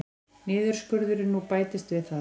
Niðurskurðurinn nú bætist við það